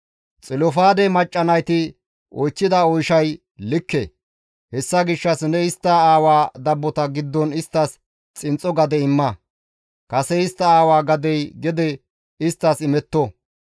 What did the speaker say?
«Xilofaade macca nayti oychchida oyshay likke; hessa gishshas ne istta aawa dabbota giddon isttas xinxxo gade imma; kase istta aawa gadey gede isttas imetto.